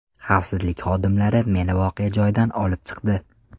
Xavfsizlik xodimlari meni voqea joyidan olib chiqdi.